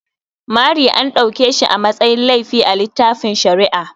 Mari an dauke shi a matsayin laifi a littafin shari'a.